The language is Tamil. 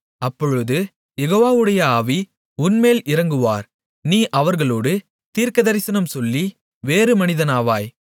அப்பொழுது யெகோவாவுடைய ஆவி உன்மேல் இறங்குவார் நீ அவர்களோடு தீர்க்கதரிசனம் சொல்லி வேறு மனிதனாவாய்